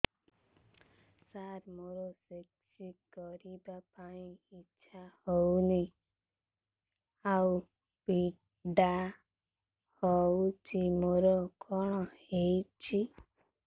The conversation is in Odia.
ସାର ମୋର ସେକ୍ସ କରିବା ପାଇଁ ଇଚ୍ଛା ହଉନି ଆଉ ପୀଡା ହଉଚି ମୋର କଣ ହେଇଛି